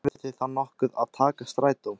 Þurfið þið þá nokkuð að taka strætó?